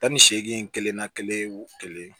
Tan ni seegin kelen na kelen wu kelen